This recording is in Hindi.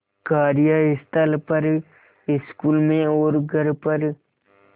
कार्यस्थल पर स्कूल में और घर पर